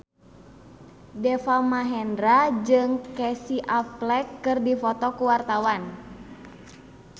Deva Mahendra jeung Casey Affleck keur dipoto ku wartawan